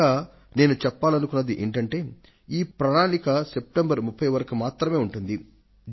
ఇంకా నేను చెప్పాలనుకున్నది ఏమిటంటే ఈ ప్రణాళిక సెప్టెంబర్ 30 వరకు మాత్రమే ఉంటుంది